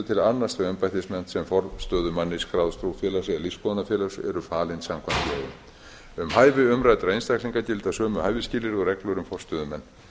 til að annast þau embættisverk sem forstöðumanni skráðs trúfélags eða lífsskoðunarfélags eru falin samkvæmt lögum um hæfi umræddra einstaklinga gilda sömu hæfisskilyrði og reglur um forstöðumenn